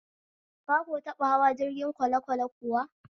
Ka ko taɓa hawa jirgin kwalekwale kuwa?